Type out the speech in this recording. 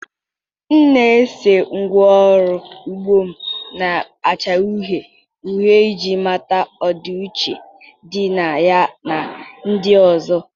m na-ese ngwá ọrụ ugbo m na-acha uhie uhie iji mata ọdịiche dị na ya na ndị ọzọ.